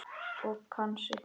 Og kann sig.